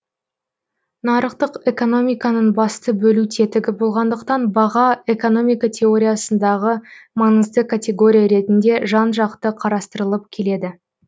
нарықтық экономиканың басты бөлу тетігі болғандықтан баға экономика теориясындағы маңызды категория ретінде жан жақты қарастырылып келеді